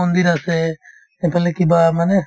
মন্দিৰ আছে সেইফালে কিবা মানে